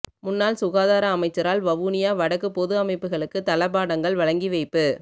முன்னாள் சுகாதார அமைச்சரால் வவுனியா வடக்கு பொது அமைப்புகளுக்கு தளபாடங்கள் வழங்கிவைப்பு